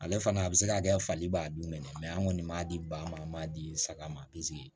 Ale fana a bɛ se ka kɛ fali b'a dun mɛ an kɔni b'a di ba ma an m'a di saga ma